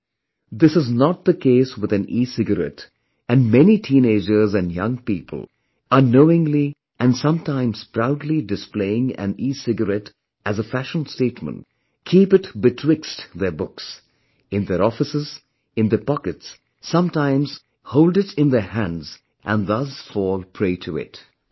However, this is not the case with an ecigarette and many teenagers and young people, unknowingly and sometimes proudly displaying an ecigarette as a fashion statement, keep it in their books, in their offices, in their pockets, sometimes hold it in their hands and thus fall prey to it